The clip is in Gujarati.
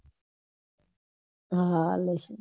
હા લઈશ